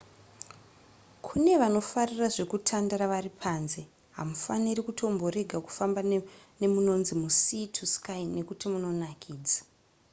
kune vanofarira zvekutandara vari panze hamufaniri kutomborega kufamba nemunonzi musea to sky nekuti munonakidza